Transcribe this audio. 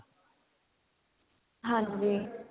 ਹਾਂਜੀ